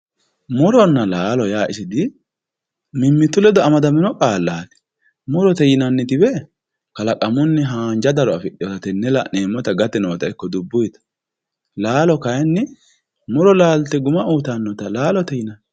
Muronna lalo ya di isi mimitu leddo amadamino qaleti muriye yinanitiwe kalaqamunni hanja daro afidhinota yenewe lanemita iko gate dubuymta lalo kayinni muro laliye guma uyitanota lakoye yinanni